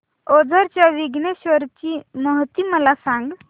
ओझर च्या विघ्नेश्वर ची महती मला सांग